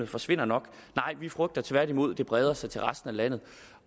forsvinder nej vi frygter tværtimod at det breder sig til resten af landet